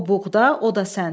O buğda, o da sən.